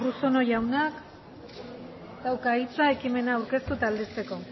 urruzuno jaunak dauka hitza ekimena aurkeztu eta aldezteko